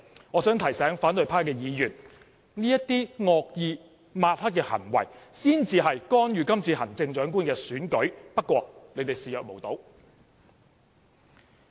我想提醒反對派的議員，這些惡意抹黑的行為才是干預今次的行政長官選舉，不過你們卻視若無睹。